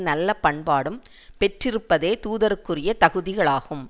நல்ல பண்பாடும் பெற்றிருப்பதே தூதருக்குரிய தகுதிகளாகும்